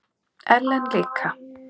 Ellen líka.